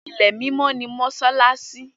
Ilẹ̀ mímọ́ ni Mósálási